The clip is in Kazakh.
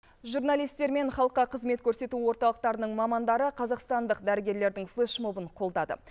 журналистер мен халыққа қызмет көрсету орталықтарының мамандары қазақстандық дәрігерлердің флеш мобын қолдады